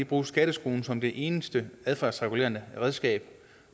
bruge skatteskruen som det eneste adfærdsregulerende redskab